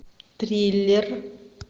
триллер